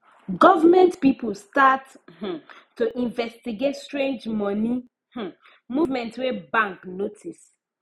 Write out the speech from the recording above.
government people start um to investigate strange money um movement wey bank notice